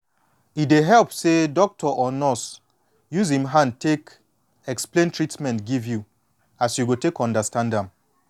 e de help say doctor or nurse use em hand explain treatment give you as you go take understand am